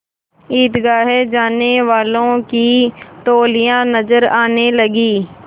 ईदगाह जाने वालों की टोलियाँ नजर आने लगीं